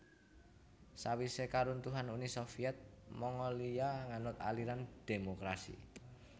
Sawisé karuntuhan Uni Soviet Mongolia nganut aliran dhémokrasi